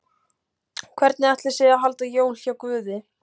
Hvernig ætli sé að halda jól hjá Guði?